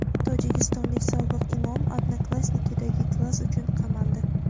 Tojikistonlik sobiq imom "Odnoklassniki"dagi "klass" uchun qamaldi.